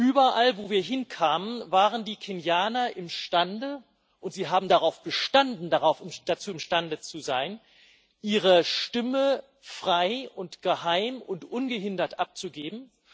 Überall, wo wir hinkamen, waren die Kenianer imstande und sie haben darauf bestanden, dazu imstande zu sein ihre Stimme frei und geheim und ungehindert abzugeben.